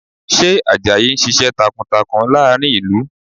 Ṣé Àjàyí ń ṣiṣẹ́ takuntakun láàrin ìlú?